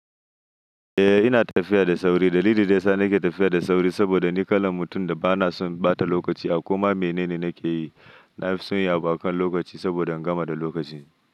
Eh ina tafiya da sauri. Dalilin da yasa nake tafiya da sauri saboda ni kalan mutum da bana son ɓata lokaci a koma menene nake yi. Na fi son yi abu a kan lokaci saboda in gama da lokaci.